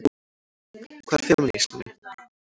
Hvað er femínismi?